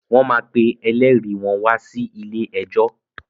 Wọ́n máa pe elérìí wọ́n wa sí ilé ẹjọ́.